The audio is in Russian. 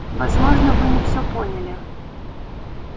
возможно вы не все поняли